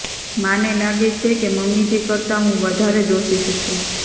મને લાગે છે કે મમ્મીજી કરતાં હું વધારે દોષિત છું